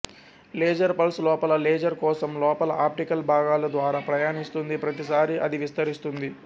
laser pulse లోపల laser కోశం లోపల ఆప్టికల్ భాగాలు ద్వారా ప్రయాణిస్తుంది ప్రతిసారి అది విస్తరిస్తుంది